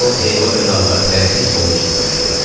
O, heyva və narları tələsiz stolun üstünə tökdü.